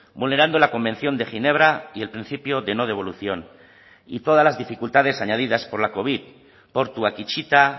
vulnerando la convención de ginebra y el principio de no devolución y todas las dificultades añadidas por la covid portuak itxita